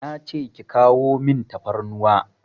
Nace ki kawo min tafarnuwa